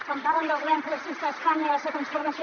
quan parlen del govern progressista d’espanya i la seva transformació